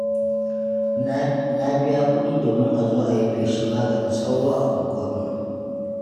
Na biya kuɗi domin a zo a yi feshin maganin sauro a unguwarmu.